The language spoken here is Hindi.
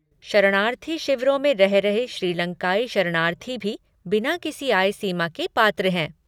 शरणार्थी शिविरों में रह रहे श्रीलंकाई शरणार्थी भी बिना किसी आय सीमा के पात्र हैं।